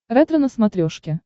ретро на смотрешке